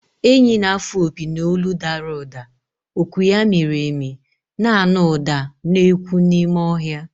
Enyí na-afụ opi n’olu dara ụda, oku ya miri emi, na-anụ ụda na-ekwu n’ime ọhịa.